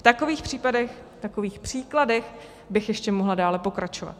V takových příkladech bych ještě mohla dále pokračovat.